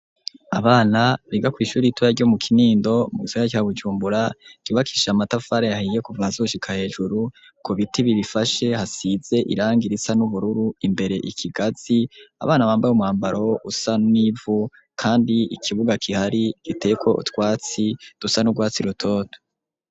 Abana biga ku ishure ritoya ryo mu kinindo mu gisaka ca Bujumbura cubakishije amatafari ahiye kuva hasi gushika hejuru ku biti bibifashe hasize iranga irisa n'ubururu imbere ikigazi abana bambaye umwambaro usa nivu kandi ikibuga gihari giteyeko utwatsi dusa n'urwatsi rutoto.